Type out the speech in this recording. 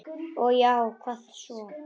Já og hvað svo!